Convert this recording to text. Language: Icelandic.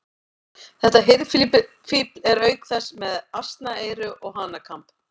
Þetta hirðfífl er auk þess með asnaeyru og hanakamb.